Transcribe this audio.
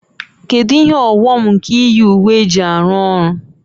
Kedu ihe ọghọm nke iyi uwe eji arụ ọrụ?